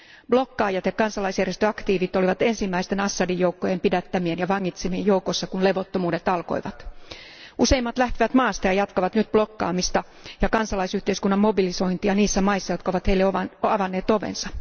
Bloggaajat ja kansalaisjärjestöaktiivit olivat ensimmäisten Assadin joukkojen pidättämien ja vangitsemien joukossa, kun levottomuudet alkoivat. Useimmat lähtivät maasta ja jatkavat nyt bloggaamista ja kansalaisyhteiskunnan mobilisointia niissä maissa, jotka heille ovat avanneet ovensa.